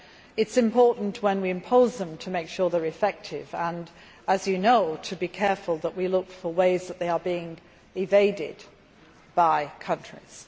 It is important when we impose them to make sure that they are effective and, as you know, to be careful that we look for ways that they are being evaded by countries.